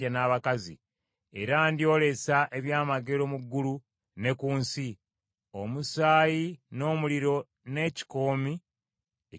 Era ndyolesa ebyamagero mu ggulu ne ku nsi: omusaayi n’omuliro n’ekikoomi eky’omukka.